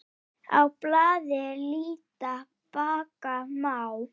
Á blaði líta bakka má.